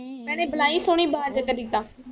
ਭੈਣੇ ਵਾਲੀ ਸਹੋਣੀ ਵਾਜ ਤੇਰੀ ਆ ਤਾ